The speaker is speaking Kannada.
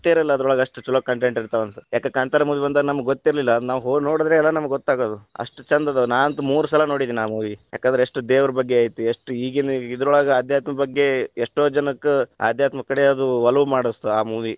ಇರಲ್ಲಾ ಅದರೊಳಗ ಎಷ್ಟ ಛಲೋ content ಇರ್ತಾವಂತ. ಯಾಕ ಕಾಂತಾರ movie ಬಂದಾಗ ನಮಗ್‌ ಗೊತ್ತಿರಲಿಲ್ಲಾ ನಾವ್‌ ಹೋಗಿ ನೋಡಿದ್ರಲ್ಲಾ ಗೊತ್ತಾಗೋದು. ಅಷ್ಟ ಛಂದ ಅದಾವ, ನಾನಂತು ಮೂರ್ ಸಲಾ ಹೋಗಿ ನೋಡೆದೆನ ಆ movie ಯಾಕಂದ್ರೆ ಎಷ್ಟ್‌ ದೇವರ್ ಬಗ್ಗೆ ಐತಿ ಎಷ್ಟ್‌ ಈಗೀನ ಇದರೊಳಗ ಆಧ್ಯಾತ್ಮ ಬಗ್ಗೆ ಎಷ್ಟೋ ಜನಕ್ ಆಧ್ಯಾತ್ಮ ಕಡೆ ಅದು ಒಲವು ಮಾಡಸ್ತ ಆ movie .